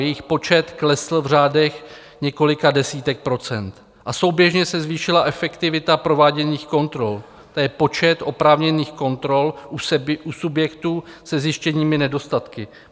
Jejich počet klesl v řádech několika desítek procent a souběžně se zvýšila efektivita prováděných kontrol, to je počet oprávněných kontrol u subjektů se zjištěnými nedostatky.